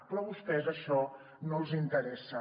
però a vostès això no els interessa